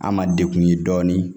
An ma degun ye dɔɔnin